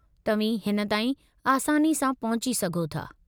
तव्हीं हिन ताईं आसानी सां पहुची सघो था।